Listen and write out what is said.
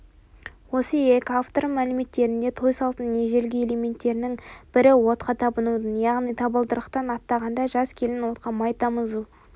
осы екі автордың мәліметтерінде той салтының ежелгі элементтерінің бірі отқа табынудың яғни табалдырықтан аттағанда жас келін отқа май тамызу